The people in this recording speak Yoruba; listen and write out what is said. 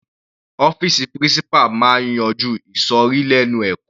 Ọ́fìsì principal máa yanjú ìsòrí lẹ́nu ẹ̀kọ́.